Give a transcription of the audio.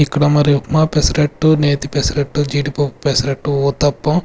ఇక్కడ మరి ఉప్మా పెసరట్టు నేతి పెసరట్టు జీడిపప్పు పెసరట్టు ఊతప్పం.